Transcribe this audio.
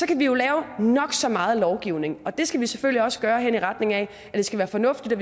kan jo lave nok så meget lovgivning og det skal vi selvfølgelig også gøre hen i retning af at det skal være fornuftigt og